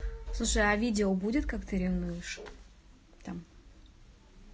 слушай а видео будет как ты ревнуешь там